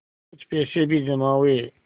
कुछ पैसे भी जमा हुए